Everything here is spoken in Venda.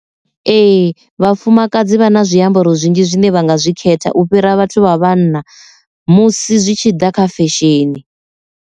Ee, vhafumakadzi vha na zwiambaro zwinzhi zwine vha nga zwi khetha u fhira vhathu vha vhanna musi zwi tshi ḓa kha fesheni.